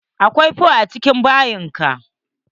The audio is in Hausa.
Akwai fonfo a cikin bayin ka?